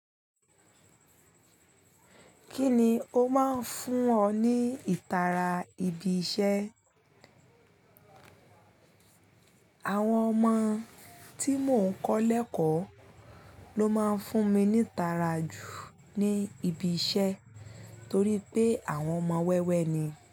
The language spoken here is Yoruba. Kí ni ó máa ń fún ọ ní ìtara ibi iṣẹ́? Àwọn ọmọ tí mò ń kọ́ lẹ̀ẹ́kọ̀ọ́ ló máa ń fún mi ní ìtara jù ní ibi iṣẹ́ torí pé àwọn ọmọ wẹ́wẹ́ ni.